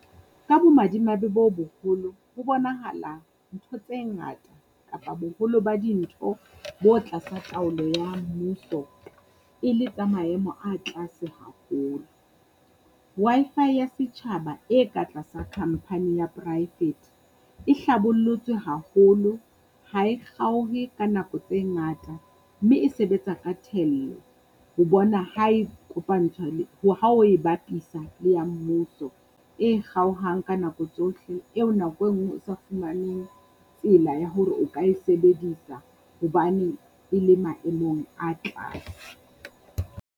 Ka bomadimabe bo boholo, ho bonahala ntho tse ngata kapa boholo ba dintho bo tlasa taolo ya mmuso, e le tsa maemo a tlase haholo. Wi-Fi ya setjhaba e ka tlasa company ya poraefete e hlabollotswe haholo, ha e kgaohe ka nako tse ngata mme e sebetsa ka thello. Ho bona ha e kopantshwa le ho ha o e bapisa le ya mmuso, e kgaohang ka nako tsohle eo nako e nngwe o sa fumaneng tsela ya hore o ka e sebedisa hobane e le maemong a tlase.